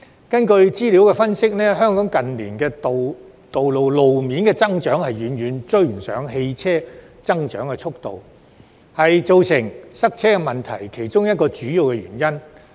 根據資料的分析，近年，香港路面的增長遠遠未能追上汽車的增長速度，這是造成塞車問題的其中一個主要原因。